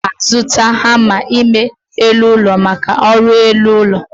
M ga-azụta hama ime elụ ụlọ maka ọrụ r'elu ụlọ